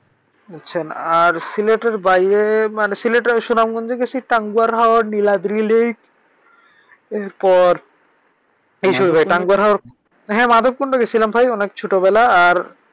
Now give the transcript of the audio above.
বুঝছেন? আর সিলেটের বাইরে মানি সিলেটের সুনামগঞ্চ গেছি, টাঙ্গয়ার হাওয়, নীলাদ্রি লেক এরপর টাঙ্গয়ার হাওয় হ্যাঁ মাদবকুন্ড গেছিলাম অনেক ছোট বেলায়। আর